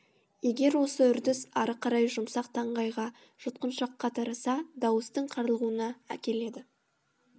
егер осы үрдіс ары қарай жұмсақ таңдайға жұтқыншаққа тараса дауыстың қарлығуына әкеледі